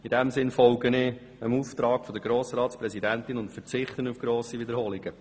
In diesem Sinn folge ich dem Auftrag der Grossratspräsidentin und verzichte auf grosse Wiederholungen.